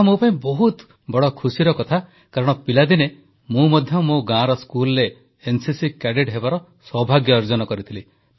ଏହା ମୋ ପାଇଁ ବହୁତ ଖୁସି କଥା କାରଣ ପିଲାଦିନେ ମୁଁ ମଧ୍ୟ ମୋ ଗାଁର ସ୍କୁଲରେ ଏନସିସି କ୍ୟାଡେଟ୍ ହେବାର ସୌଭାଗ୍ୟ ଅର୍ଜନ କରିଥିଲି